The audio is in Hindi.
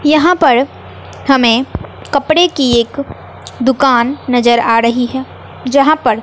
यहां पर हमें कपड़े की एक दुकान नजर आ रही है जहां पर--